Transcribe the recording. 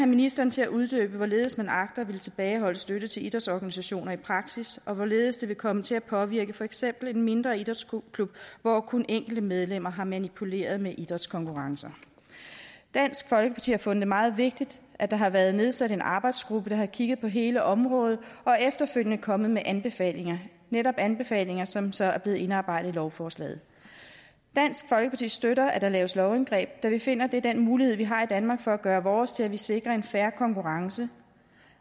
ministeren til at uddybe hvorledes man agter at ville tilbageholde støtte til idrætsorganisationer i praksis og hvorledes det vil komme til at påvirke for eksempel en mindre idrætsklub hvor kun enkelte medlemmer har manipuleret med idrætskonkurrencer dansk folkeparti har fundet det meget vigtigt at der har været nedsat en arbejdsgruppe der har kigget på hele området og efterfølgende er kommet med anbefalinger netop anbefalinger som så er blevet indarbejdet i lovforslaget dansk folkeparti støtter at der laves lovindgreb da vi finder at det er den mulighed vi har i danmark for at gøre vores til at vi sikrer en fair konkurrence